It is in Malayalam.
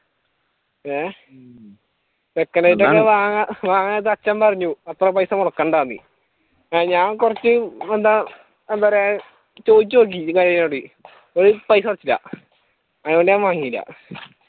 ഏഹ് second elite ഞാൻ വാങ്ങാൻ നേരത്ത് അച്ഛൻ പറഞ്ഞു അത്രയും പൈസ മുടക്കണ്ടാന്ന് അത് ഞാൻ കുറച്ച് എന്താ എന്താപറയുക ചോയിച്ചുനോക്കി പൈസ കുറച്ചില്ല അതുകൊണ്ട് ഞാൻ വാങ്ങില്ല